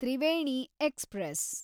Triveni express